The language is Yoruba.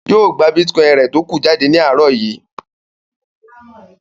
Yóò gba bítíkọ́ìn rẹ̀ tókù jáde ní àárọ̀ yìí.